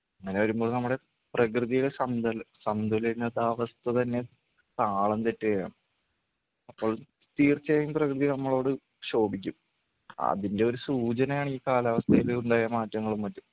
അങ്ങനെ വരുമ്പോൾ നമ്മുടെ പ്രകൃതിയുടെ സന്തുല സന്തുലിനിതാവസ്ഥ തന്നെ താളം തെറ്റുകയാണ് അപ്പോൾ തീർച്ചയായും പ്രകൃതി നമ്മളോട് ക്ഷോഭിക്കും അതിൻ്റെ ഒരു സൂചനയാണ് ഈ കാലാവസ്ഥയില് ഉണ്ടായ മാറ്റങ്ങളും മറ്റും.